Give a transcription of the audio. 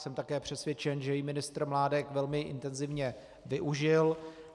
Jsem také přesvědčen, že jí ministr Mládek velmi intenzivně využil.